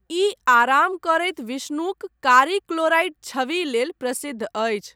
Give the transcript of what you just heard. ई आराम करैत विष्णुक कारी क्लोराइट छवि लेल प्रसिद्ध अछि।